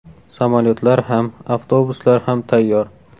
Samolyotlar ham, avtobuslar ham tayyor.